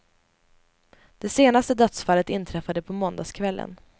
De senaste dödsfallet inträffade på måndagskvällen.